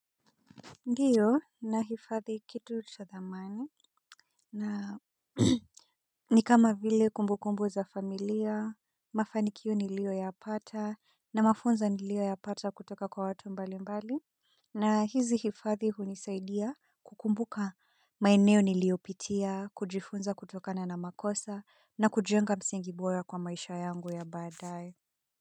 Ndiyo na hifadhi kitu cha thamani na nikama vile kumbukumbu za familia, mafanikiyo nilio ya pata na mafunzo nilio ya pata kutoka kwa watu mbali mbali na hizi hifadhi hunisaidia kukumbuka maeneo niliopitia, kujifunza kutokana na makosa na kujenga msingibora kwa maisha yangu ya baadae.